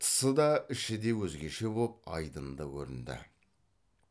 тысы да іші де өзгеше боп айдынды көрінді